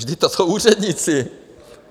Vždyť to jsou úředníci!